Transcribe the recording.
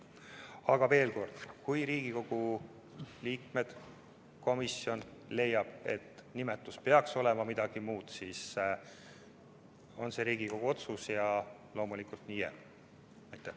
Aga veel kord: kui Riigikogu liikmed leiavad, kui komisjon leiab, et nimetus peaks olema midagi muud, siis see on Riigikogu otsus ja loomulikult nii jääb.